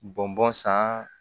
Bɔn bɔn san